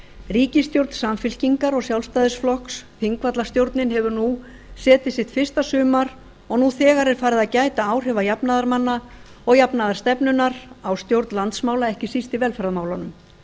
ríkisstjórn samfylkingar og sjálfstæðisflokks þingvallastjórnin hefur nú setið sitt fyrsta sumar og nú þegar er farið að gæta áhrifa jafnaðarmanna ég janfaðarstefnunanr á stjórn landsmála ekki síst i velferðarmálunum